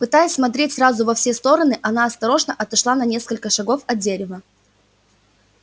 пытаясь смотреть сразу во все стороны она осторожно отошла на несколько шагов от дерева